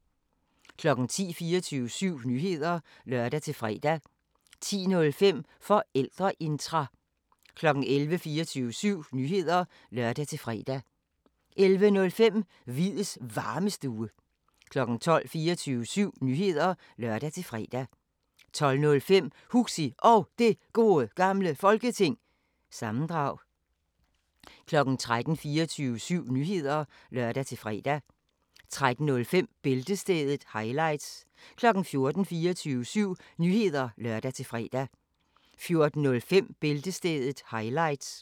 10:00: 24syv Nyheder (lør-fre) 10:05: Forældreintra 11:00: 24syv Nyheder (lør-fre) 11:05: Hviids Varmestue 12:00: 24syv Nyheder (lør-fre) 12:05: Huxi Og Det Gode Gamle Folketing- sammendrag 13:00: 24syv Nyheder (lør-fre) 13:05: Bæltestedet – highlights 14:00: 24syv Nyheder (lør-fre) 14:05: Bæltestedet – highlights